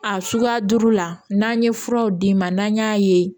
A suguya duuru la n'an ye furaw d'i ma n'an y'a ye